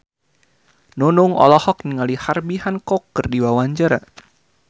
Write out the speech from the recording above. Nunung olohok ningali Herbie Hancock keur diwawancara